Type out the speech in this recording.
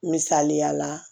Misaliya la